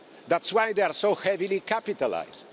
That's why they are so heavily capitalised.